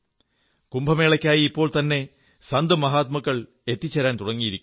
കുംഭമേളയ്ക്കായി ഇപ്പോൾത്തന്നെ സന്ത്മഹാത്മാക്കൾ എത്തിച്ചേരാൻ തുടങ്ങിയിരിക്കുന്നു